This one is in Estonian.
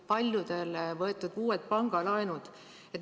Paljudel on võetud uued pangalaenud.